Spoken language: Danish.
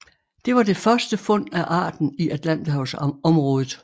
Det var det første fund af arten i Atlanterhavsområdet